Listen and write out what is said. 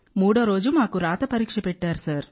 మూడో రోజు మాకు పేపర్ పై పరీక్ష పెట్టారు